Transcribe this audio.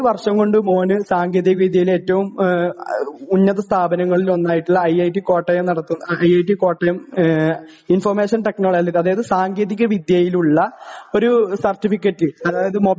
ഒരു വർഷം കൊണ്ട് മോന് സാങ്കേതിക വിദ്യയിലെ ഏറ്റവും ആ ഉന്നത സ്ഥാപനങ്ങളിൽ ഒന്നായിട്ടുള്ള ഐ ഐ ടി കോട്ടയം നടത്തുന്ന I I T Kottayam information technology അതായത് സാങ്കേതിക വിദ്യയിലുള്ള ഒരു സർട്ടിഫിക്കറ്റ് അതായത്